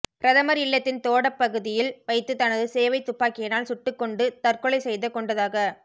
பிரதமர் இல்லத்தின் தோடப்பகுதியில் வைத்துத் தனது சேவைத் துப்பாக்கியினால் சுட்டுக்கொண்டு தற்கொலை செய்து கொண்டதாகத்